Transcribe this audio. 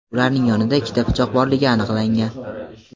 ularning yonida ikkita pichoq borligi aniqlangan.